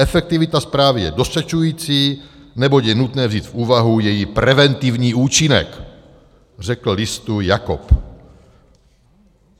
Efektivita správy je dostačující, neboť je nutné vzít v úvahu její preventivní účinek, řekl listu Jakob.